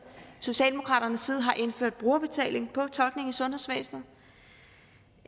har indført brugerbetaling på tolkning i sundhedsvæsenet